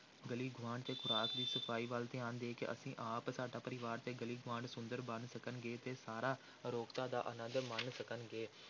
ਗਲੀ ਗੁਆਂਢ ਤੇ ਖ਼ੁਰਾਕ ਦੀ ਸਫ਼ਾਈ ਵੱਲ ਧਿਆਨ ਦੇ ਕੇ ਅਸੀਂ ਆਪ, ਸਾਡਾ ਪਰਿਵਾਰ ਤੇ ਗਲੀ ਗੁਆਂਢ ਸੁੰਦਰ ਬਣ ਸਕਣਗੇ ਤੇ ਸਾਰਾ ਅਰੋਗਤਾ ਦਾ ਆਨੰਦ ਮਾਣ ਸਕਣਗੇ।